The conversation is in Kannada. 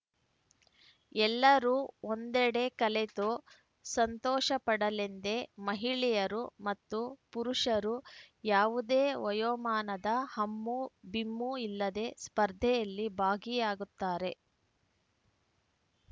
ಎಲ್ಲರೂ ಒಂದೆಡೆ ಕಲೆತು ಸಂತೋಷಪಡಲೆಂದೇ ಮಹಿಳೆಯರು ಮತ್ತು ಪುರುಷರು ಯಾವುದೇ ವಯೋಮಾನದ ಹಮ್ಮು ಬಿಮ್ಮು ಇಲ್ಲದೆ ಸ್ಪರ್ಧೆಯಲ್ಲಿ ಭಾಗಿಯಾಗುತ್ತಾರೆ